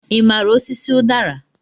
Ị maara osisi udara?